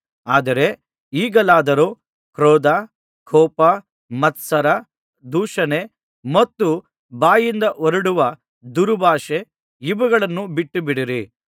ಆದರೆ ಈಗಲಾದರೋ ಕ್ರೋಧ ಕೋಪ ಮತ್ಸರ ದೂಷಣೆ ಮತ್ತು ಬಾಯಿಂದ ಹೊರಡುವ ದುರ್ಭಾಷೆ ಇವುಗಳನ್ನು ಬಿಟ್ಟುಬಿಡಿರಿ